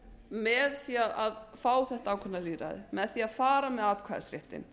með því að fá þetta ákveðna lýðræði með því að fara með atkvæðisréttinn